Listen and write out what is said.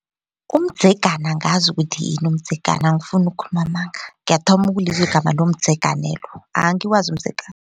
Umdzegana angazi ukuthi yini umdzegana angifuni ukukhuluma amanga ngiyathoma ukulizwa igama lomdzeganelo angiwazi umdzegana.